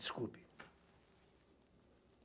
Desculpe.